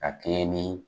Ka kɛɲɛ ni